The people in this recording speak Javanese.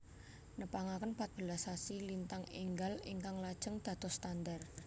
Nepangaken patbelas rasi lintang énggal ingkang lajeng dados standhar